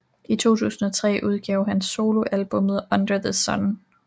I 2003 udgav han soloalbummet Under The Sun